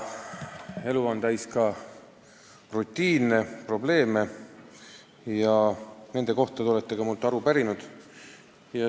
Aga elu on täis rutiini ja probleeme ning nende kohta te olete minult aru pärinud.